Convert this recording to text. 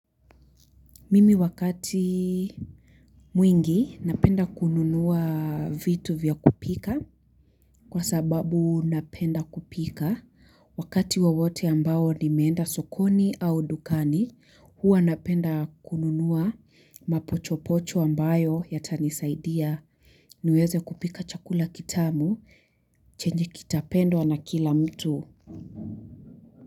Mimi wakati mwingi napenda kununua vitu vya kupika kwa sababu napenda kupika wakati wowote ambao nimeenda sokoni au dukani huwa napenda kununua mapochopocho ambayo yatanisaidia niweze kupika chakula kitamu chenye kitapendwa na kila mtu.